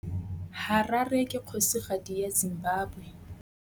Harare ke kgosigadi ya Zimbabwe.